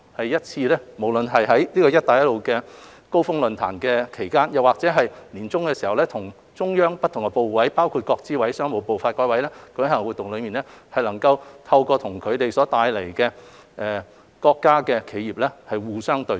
而每年在"一帶一路高峰論壇"期間，或在年中與中央不同部委，包括國資委、商務部或發改委舉行的活動中，我們至少有一次能夠與他們帶領的國家企業互相對接。